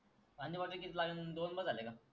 खाली बाटल किती लागल दोन बस झाले का?